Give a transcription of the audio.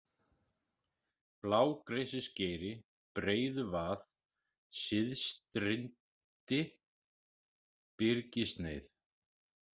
Blágresisgeiri, Breiðuvað, Syðstirindi, Byrgissneið